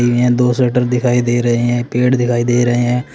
यहां दो शटर दिखाई दे रहे हैं पेड़ दिखाई दे रहे हैं।